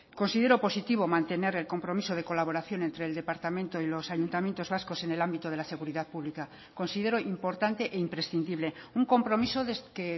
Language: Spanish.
considero positivo mantener el compromiso de colaboración entre el departamento y los ayuntamientos vascos en el ámbito de la seguridad pública considero importante e imprescindible un compromiso que